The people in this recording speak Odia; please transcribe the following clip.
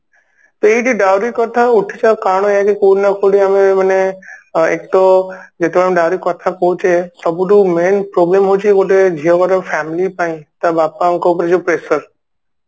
ତ ଏଇଠି Dowry କଥା ଉଠୁଛି ଆଉ କାରଣ ଆଜି କୋଉଠି ନା କୋଉଠି ଆମେ ମାନେ ଏକ ତ ଯେତେବେଳେ dowry କଥା କହୁଛେ ସବୁଠୁ main problem ହଉଛି ଗୋଟେ ଝିଅଘର family ପାଇଁ ତା ବାପାଙ୍କ ଉପରେ ଯୋଉ pressure